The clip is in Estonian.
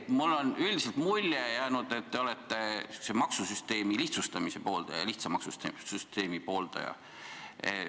Mulle on üldiselt jäänud mulje, et te olete maksusüsteemi lihtsustamise, lihtsa maksusüsteemi pooldaja.